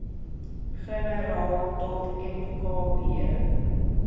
generaal dot mkb